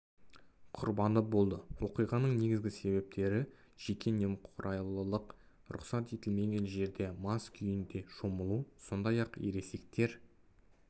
құрбаны болды оқиғаның негізгі себептері жеке немқұрайлылық рұқсат етілмеген жерлерде мас күйінде шомылу сондай-ақ ересектер